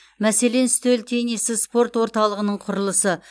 мәселен үстел теннисі спорт орталығының құрылысы